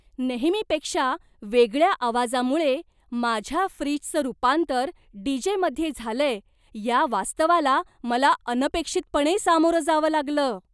नेहमीपेक्षा वेगळ्या आवाजामुळे माझ्या फ्रीजचं रूपांतर डीजेमध्ये झालंय या वास्तवाला मला अनपेक्षितपणे सामोरं जावं लागलं!